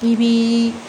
I b'i